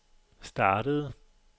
startede